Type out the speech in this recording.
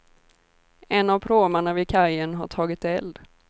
En av pråmarna vid kajen har tagit eld.